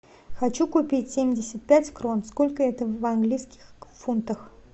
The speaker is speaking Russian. хочу купить семьдесят пять крон сколько это в английских фунтах